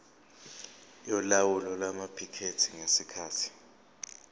yolawulo lwamaphikethi ngesikhathi